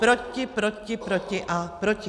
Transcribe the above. Proti, proti, proti a proti.